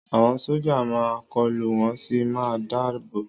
Àwọn sójà máa n kọlu wọ́n sì máa n dáàbò